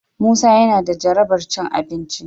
Musa yana da jarabar cin abinci.